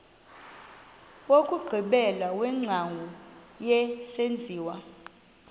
wokugqibela wengcambu yesenziwa